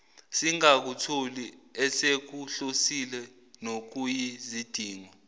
singakutholi esikuhlosile nokuyizidingo